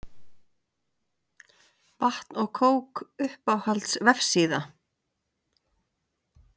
Vatn og kók Uppáhalds vefsíða?